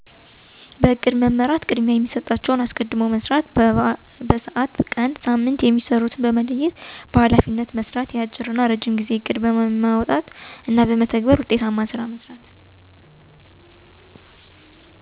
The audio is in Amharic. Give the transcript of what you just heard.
በፕሮግራም እናበእቅድ በመመራት ቅድማያየሚሠጣቸዉንቅድሚያ ሰጦ መስራት። በስዓት፣ በቀን፣ በሳምንት፣ በወር የማሰሩትንሥራዎች በመለየትማከናወን በኃላፊነት የሚሰሩ ተጨማሪ ሥራዎችን ሥልጠና የሚሰጠዉን ስልጠና በመስጠት እና የአጭረናየረጅም ጊዜእቅድ በማዉጣትእቅዱም በተግበር ላይእንዲዉል ክትትል እናግምገማ በማድአግ ግብረመልስ በመሥጠት ዉጤታማ ሥራ እንዲሰራ ማድርግ።